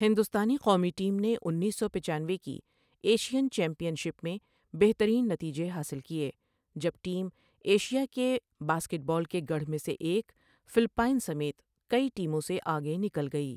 ہندوستانی قومی ٹیم نے انیس سو پچانوے کی ایشین چیمپئن شپ میں بہترین نتیجے حاصل کیے، جب ٹیم ایشیا کے باسکٹ بال کے گڑھ میں سے ایک، فلپائن سمیت کئی ٹیموں سے آگے نکل گئی۔